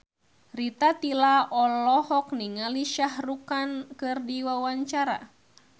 Rita Tila olohok ningali Shah Rukh Khan keur diwawancara